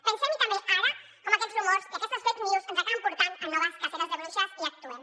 pensem hi també ara com aquests rumors i aquestes fake news ens acaben portant a noves caceres de bruixes i actuem